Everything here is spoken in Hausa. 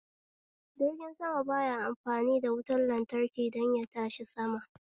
Jirgin sama ba ya amfani da wutan lantraki don yatashi sama